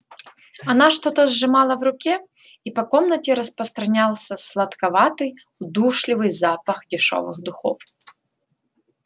она что-то сжимала в руке и по комнате распространялся сладковатый удушливый запах дешёвых духов